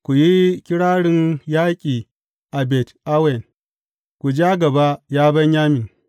Ku yi kirarin yaƙi a Bet Awen; ku ja gaba, ya Benyamin.